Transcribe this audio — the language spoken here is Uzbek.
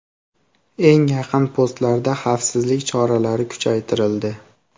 Eng yaqin postlarda xavfsizlik choralari kuchaytirildi.